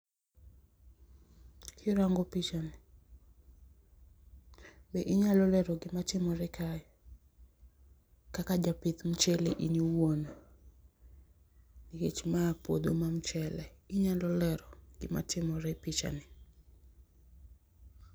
question repeated